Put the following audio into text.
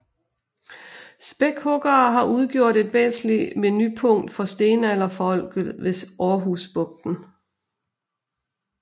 Spækhuggere har udgjort et væsentligt menupunkt for stenalderfolket ved Aarhus Bugten